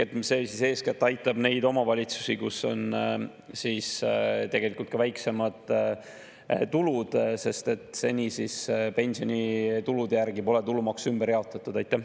See eeskätt aitab neid omavalitsusi, kus on tegelikult ka väiksemad tulud, sest seni pole pensionitulude järgi tulumaksu ümber jaotatud.